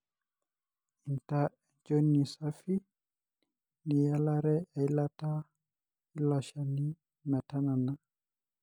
inta enchoni safi niyalare eilata eloshon metanana.